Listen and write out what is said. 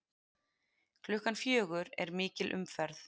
Klukkan fjögur er mikil umferð.